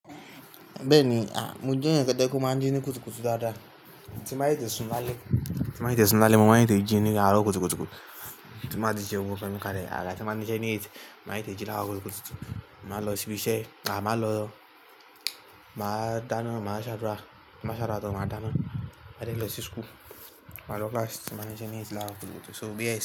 Bẹ́ẹ̀ni, à, mo jẹ́ èyan té pè máa ń jí ní kùtùkùtù dáadáa, tí màá tè tè súnálẹ̀. Tí màá tè tè súnálẹ̀, mo máa tè tè jí ní àárọ̀ kùtùkùtù, tí màá ti ṣè òun kà ni kálẹ̀. Àgà tí màá ńi ṣẹ́ ní ètì, màá tè tè jí láró kùtùkùtù. Màá lọ sí ibi iṣẹ́, à, màá lọ, màá dáná, màá ṣàdúrà, tí màá ṣàdúrà tán, màá dáná, máa dé lọ sí school. Màá lọ class, tí máa niṣẹ́ ní étì láró kùtùkùtù so bíẹ̀ sí.